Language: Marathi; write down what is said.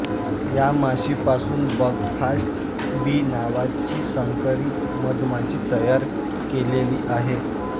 या माशीपासून बकफास्ट बी नावाची संकरित मधमाशी तयार केलेली आहे